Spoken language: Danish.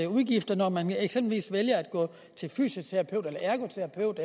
udgifter når man eksempelvis vælger at gå til fysioterapeut ergoterapeut